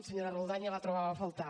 senyora roldán ja la trobava a faltar